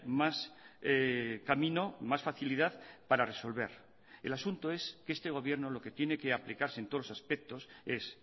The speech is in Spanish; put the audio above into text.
más camino más facilidad para resolver el asunto es que este gobierno lo que tiene que aplicarse en todos los aspectos es